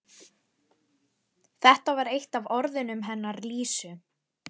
Þetta var eitt af orðunum hennar Lísu.